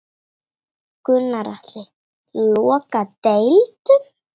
Gunnar Atli: Loka deildum?